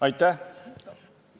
Aitäh!